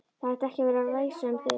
Það ætti ekki að væsa um þig.